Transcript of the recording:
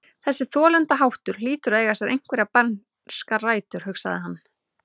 Þessi þolandaháttur hlýtur að eiga sér einhverjar bernskar rætur, hugsaði hann.